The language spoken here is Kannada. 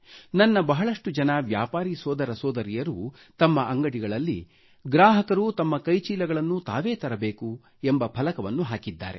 ನನ್ನ ಬಹಳಷ್ಟು ಜನ ವ್ಯಾಪಾರೀ ಸೋದರ ಸೋದರಿಯರು ತಮ್ಮ ಅಂಗಡಿಗಳಲ್ಲಿ ಗ್ರಾಹಕರು ತಮ್ಮ ಕೈಚೀಲಗಳನ್ನು ತಾವೇ ತರಬೇಕು ಎಂಬ ಫಲಕವನ್ನು ಹಾಕಿದ್ದಾರೆ